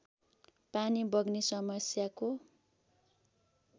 पानी बग्ने समस्याको